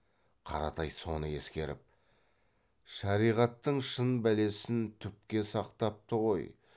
қаратай соны ескеріп шариғаттың шын бәлесін түпке сақтапты ғой